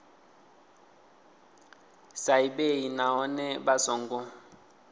sa ḓivhei nahone vha songo